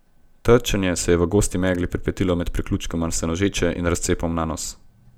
Trčenje se je v gosti megli pripetilo med priključkom Senožeče in razcepom Nanos.